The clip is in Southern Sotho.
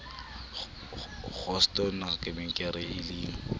kgosto nkabe ke re llang